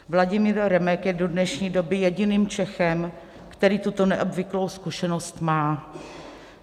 Vladimír Remek je do dnešní doby jediným Čechem, který tuto neobvyklou zkušenost má.